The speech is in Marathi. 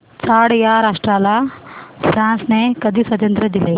चाड या राष्ट्राला फ्रांसने कधी स्वातंत्र्य दिले